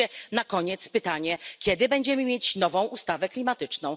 I wreszcie na koniec pytanie kiedy będziemy mieć nową ustawę klimatyczną?